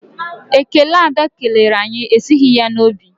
Ekele Ada kelere anyị esighị ya n'obi.